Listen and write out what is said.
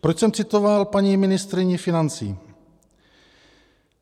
Proč jsem citoval paní ministryni financí?